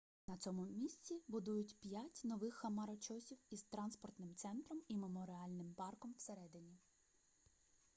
на цьому місці будують п'ять нових хмарочосів із транспортним центром і меморіальним парком посередині